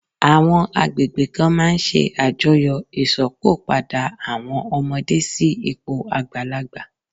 Àwọn agbègbè kan máà ń ṣe àjọyọ̀ Ìsópọ̀ padà àwọn ọmọdé sí ipò àgbàlagbà